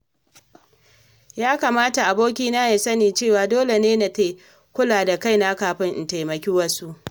Ya kamata abokina ya sani cewa dole ne na kula da kaina kafin in taimaki wasu.